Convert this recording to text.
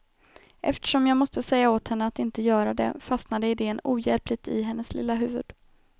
Eftersom jag måste säga åt henne att inte göra det, fastnade idén ohjälpligt i hennes lilla huvud.